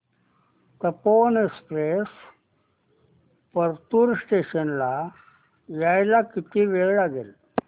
Tapovan Express Partur station ला यायला किती वेळ लागेल